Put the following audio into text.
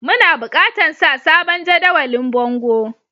Muna bukatan sa sabon jadawalin a bongo.